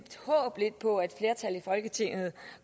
folketinget